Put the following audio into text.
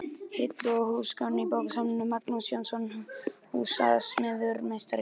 Hillur og húsgögn í bókasafn: Magnús Jónsson, húsasmíðameistari.